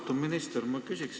Austatud minister!